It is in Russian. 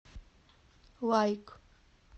лайк